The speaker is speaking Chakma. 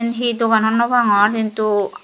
iyen he dogan hobor no pangor hintu.